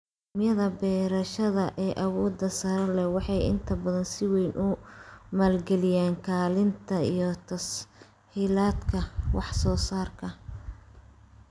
Nidaamyada beerashada ee awoodda sare leh waxay inta badan si weyn u maalgeliyaan kaydinta iyo tas-hiilaadka wax-soo-saarka.